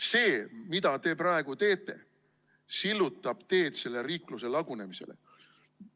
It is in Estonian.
See, mida te praegu teete, sillutab teed selle riikluse lagunemisele.